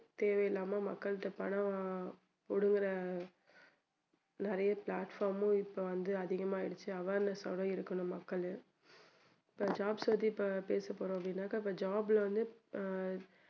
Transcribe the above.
தேவையில்லாம மக்கள்ட்ட பணம் வா~புடுங்குற நிறைய platform உம் இப்போ வந்து அதிகமாயிடுச்சு awareness ஆ இருக்கணும் மக்களும் இப்போ jobs பத்தி பேசப்போறோம் அப்படின்னாக்க இப்போ job ல வந்து